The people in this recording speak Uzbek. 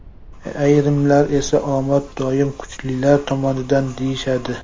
Ayrimlar esa omad doim kuchlilar tomonidan, deyishadi.